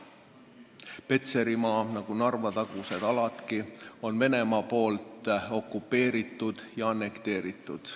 Petserimaa on nagu Narva-tagused aladki Venemaa poolt okupeeritud ja annekteeritud.